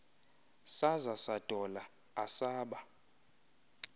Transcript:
saza sadola asaba